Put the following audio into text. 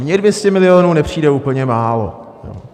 Mně 200 milionů nepřijde úplně málo.